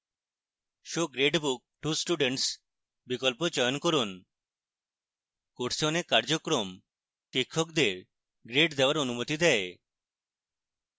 show gradebook to students বিকল্প লক্ষ্য করুন